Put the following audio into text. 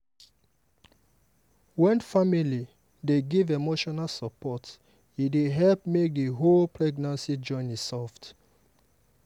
wen family dey give emotional support e dey help make the whole pregnancy journey soft.